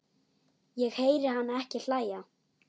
Ég heyri hana ekki hlæja